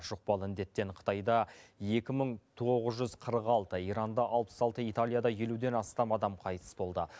жұқпалы індеттен қытайда екі мың тоғыз жүз қырық алты иранда алпыс алты италияда елуден астам адам қайтыс болды